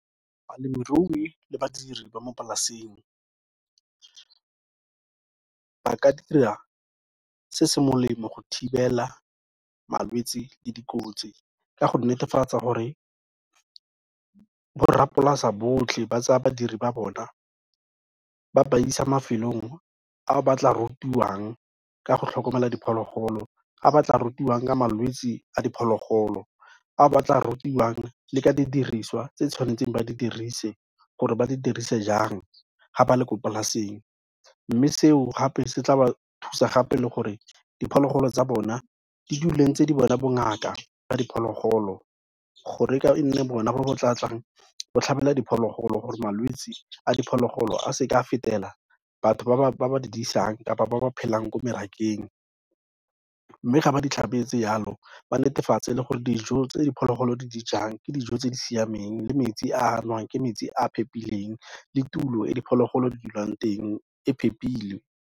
Balemirui le badiri ba mo polaseng ba ka dira se se molemo go thibela malwetsi le dikotsi ka go netefatsa gore borrapolase botlhe ba tsaya badiri ba bona ba ba isa mafelong a ba tla rutiwang ka go tlhokomela diphologolo, a ba tla rutiwang ka malwetsi a diphologolo, a ba tla rutiwang le ka didiriswa tse tshwanetseng ba di dirise gore ba di dirise jang ga ba le ko polaseng, mme seo gape se tla ba thusa gape le gore diphologolo tsa bona di dule ntse di bona bongaka ba diphologolo gore e nne bona bo bo tlatlang bo tlhabela diphologolo gore malwetse a diphologolo a seka a fetela batho ba ba di disang kapa ba ba phelang ko morakeng, mme ga ba ditlhabetse yalo, ba netefatse le gore dijo tse diphologolo di dijang, ke dijo tse di siameng le metsi a anwang ke metsi a phepileng le tulo e diphologolo di dulang teng e phepile.